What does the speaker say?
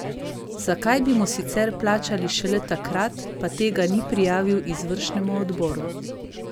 Zakaj bi mu sicer plačali šele takrat, pa tega ni prijavil izvršnemu odboru?